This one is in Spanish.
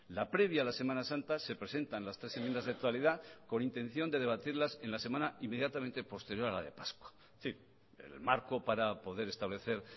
la previa a la semana santa se presentan las tres enmiendas de totalidad con intención de debatirlas en la semana inmediatamente posterior a la de pascua en fin el marco para poder establecer